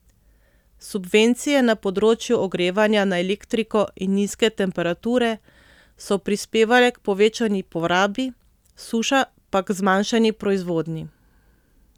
Subvencije na področju ogrevanja na elektriko in nizke temperature so prispevale k povečani porabi, suša pa k zmanjšani proizvodnji.